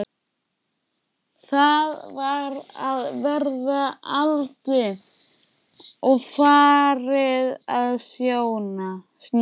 Það var að verða aldimmt og farið að snjóa.